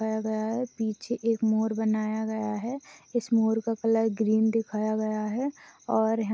पाया गया है पीछे एक मोर बनाया गया है इस मोर का कलर ग्रीन दिखाया गया हैं। और य--